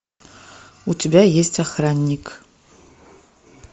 у тебя есть охранник